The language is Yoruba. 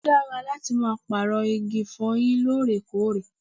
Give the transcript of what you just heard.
Ó dára láti máa pààrọ̀ igi ìfọyín lóòrèkóòrè